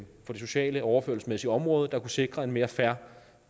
sociale og overførselsmæssige område der kunne sikre en mere fair